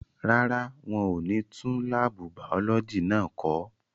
Rárá, wọ́n ò ní tún láàbù bàọ́lọ́jì náà kọ́.